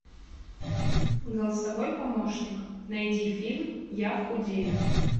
голосовой помощник найди фильм я худею